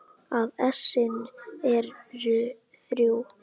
að essin eru þrjú!